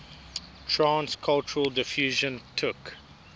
trans cultural diffusion took